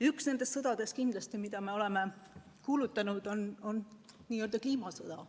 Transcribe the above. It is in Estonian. Üks nendest sõdadest, mille me oleme kuulutanud, on nii-öelda kliimasõda.